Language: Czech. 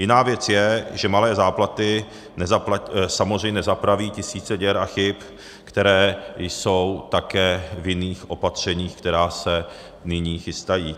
Jiná věc je, že malé záplaty samozřejmě nespraví tisíce děr a chyb, které jsou také v jiných opatřeních, která se nyní chystají.